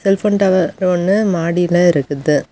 Cellphone tower ஒன்னு மாடில இருக்குது.